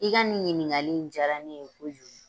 I ka nin ɲininkali jaara ne ye ko kojugu.